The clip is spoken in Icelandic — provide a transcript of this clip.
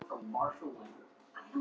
Hann var með svona blett.